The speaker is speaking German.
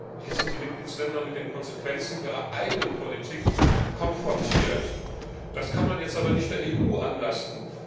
Hier sind also die Mitgliedstaaten mit den Konsequenzen ihrer eigenen Politik konfrontiert. Das kann man jetzt aber nicht der EU anlasten.